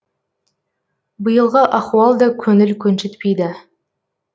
биылғы ахуал да көңіл көншітпейді